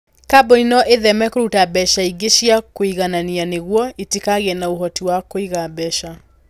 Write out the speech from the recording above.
Kambuni no itheme kũruta mbeca ingĩ cia kwĩiganania nĩguo itikagĩe na ũhoti wa kũiga mbeca.